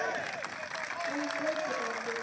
Annars veit ég það ekki.